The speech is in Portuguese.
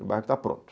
O bairro está pronto.